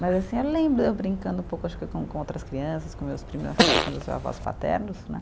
Mas assim, eu lembro eu brincando um pouco acho que com com outras crianças, com meus primos nas casas dos meus avós paternos, né?